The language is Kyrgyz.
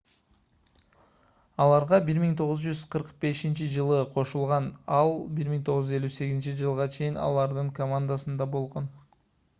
аларга 1945-жылы кошулган ал 1958-жылга чейин алардын командасында болгон